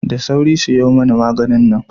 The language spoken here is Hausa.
Da sauri siyo mani maganin nan